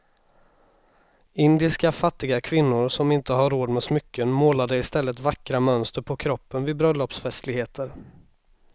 Indiska fattiga kvinnor som inte hade råd med smycken målade i stället vackra mönster på kroppen vid bröllopsfestligheter.